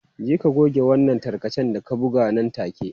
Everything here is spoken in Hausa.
Je ka goge wannan tarkacen da ka buga nan take.